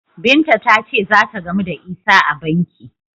Binta ta ce za ta gamu da Isah a banki.